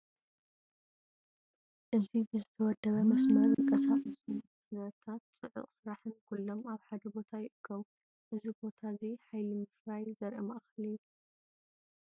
እዚ ብዝተወደበ መስመር ዝንቀሳቐሱ ሳጹናት፡ ድምጺ ማሽነሪታትን ጽዑቕ ስራሕን ኩሎም ኣብ ሓደ ቦታ ይእከቡ። እዚ ቦታ እዚ ሓይሊ ምፍራይ ዘርኢ ማእከል እዩ።